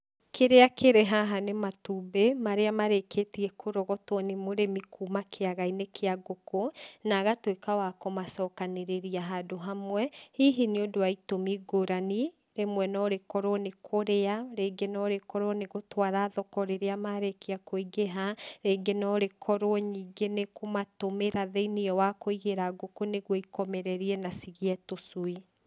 Kĩrĩa kĩrĩ haha nĩ matumbĩ, marĩa marĩkĩtie kũrogotwo nĩ mũrĩmi kuma kĩagainĩ kĩa ngũkũ, na agatuĩka wa kũmacokanĩrĩria handũ hamwe, hihi nĩ ũndũ wa itũmi ngurani, rĩmwe no rĩkorwo nĩ kũrĩa, rĩngĩ no rĩkorwo nĩ gũtwara thoko rĩrĩa marĩkia kũingĩha, rĩngĩ no rĩkorwo ningĩ nĩkũmatũmatũmĩra thĩinĩ wa kũigĩra ngũkũ nĩguo ikomererie, na cigĩe tũcui.